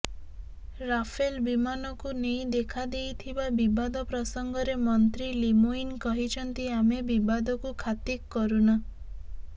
Rafale ବିମାନକୁ ନେଇ ଦେଖାଦେଇଥିବା ବିବାଦ ପ୍ରସଙ୍ଗରେ ମନ୍ତ୍ରୀ ଲିମୋୟିନ୍ କହିଛନ୍ତି ଆମେ ବିବାଦକୁ ଖାତିକ କରୁନା